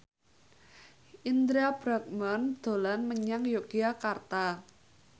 Indra Bruggman dolan menyang Yogyakarta